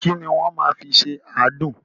Ki ni wọ́n máa fi ṣe àádùn?